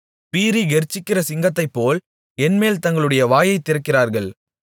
பீறி கெர்ச்சிக்கிற சிங்கத்தைப்போல் என்மேல் தங்களுடைய வாயைத் திறக்கிறார்கள்